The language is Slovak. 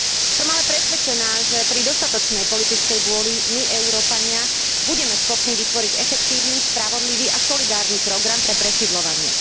Som ale presvedčená, že pri dostatočnej politickej vôli, my, Európania, budeme schopní vytvoriť efektívny, spravodlivý a solidárny program pre presídľovanie.